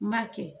N b'a kɛ